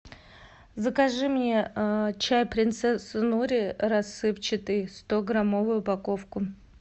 закажи мне чай принцесса нури рассыпчатый сто граммовую упаковку